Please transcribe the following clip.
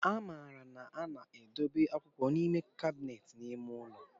A maara na a na-edobe akwụkwọ n'ime kabinet nke ime ụlọ.